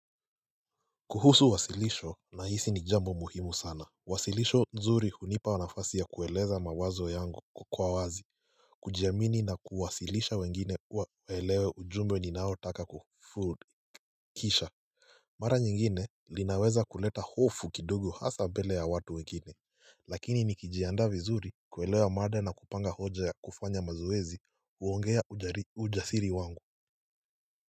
Kuhusu wasilisho na hisi ni jambo muhimu sana Wasilisho nzuri hunipa nafasi ya kueleza mawazo yangu kwa wazi kujiamini na kuwasilisha wengine waelewe ujumbe ninao taka kufood kisha Mara nyingine linaweza kuleta hofu kidogo hasa mbele ya watu wengine Lakini nikijiandaa vizuri kuelewa mada na kupanga hoja ya kufanya mazoezi uongea ujasiri wangu.